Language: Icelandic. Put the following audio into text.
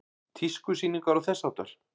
Tískusýningar og þess háttar?